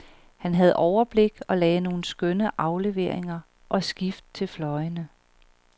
Han havde overblik og lagde nogle skønne afleveringer og skift til fløjene.